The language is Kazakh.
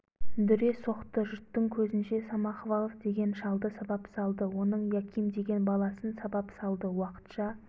дүре соқты жұрттың көзінше самохвалов деген шалды сабап салды оның яким деген баласын сабап салды уақытша